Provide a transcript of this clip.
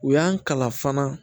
U y'an kalan fana